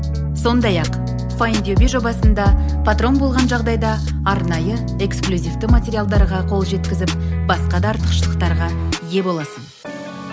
сондай ақ файндюби жобасында патрон болған жағдайда арнайы эксклюзивті материалдарға қол жеткізіп басқа да артықшылықтарға ие боласың